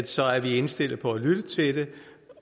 så er indstillet på at lytte til det